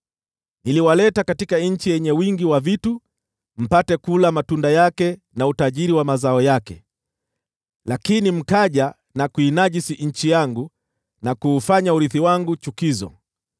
Niliwaleta katika nchi yenye wingi wa vitu ili mpate kula matunda yake na utajiri wa mazao yake. Lakini mkaja na kuinajisi nchi yangu, na kuufanya urithi wangu chukizo.